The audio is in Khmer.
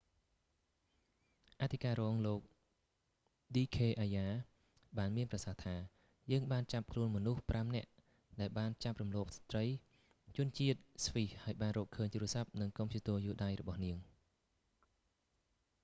អធិការរងលោក ឌីខ អាយ៉ា d k arya បានមានប្រសាសន៍ថា យើងបានចាប់ខ្លួនមនុស្សប្រាំនាក់ ដែលបានចាប់រំលោភស្ត្រីជនជាតិស្វ៊ីសហើយបានរកឃើញទូរស័ព្ទ និងកុំព្យូទ័រយួរដៃរបស់នាង